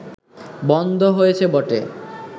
বন্ধ হয়েছে বটে